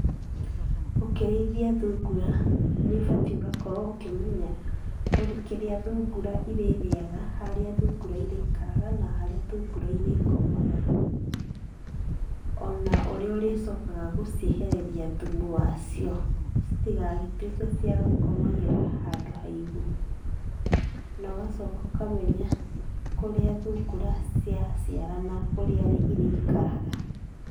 Ũkĩrĩithia thungura nĩ ũbatiĩ ũgakorwo ũkĩmenya kĩrĩa thungũra irĩrĩaga, harĩa thungura irĩikaraga, na harĩa thungura irĩkomaga, o na ũrĩa ũrĩcokaga gũciehereria thumu wacio citigagĩtuĩke cia gũkomagĩra handũ haigũ. Na ũgacoka ũkamenya kũrĩa thungura ciaciarana ũrĩa irĩikaraga.